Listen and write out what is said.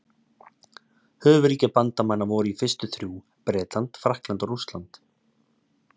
Höfuðríki bandamanna voru í fyrstu þrjú: Bretland, Frakkland og Rússland.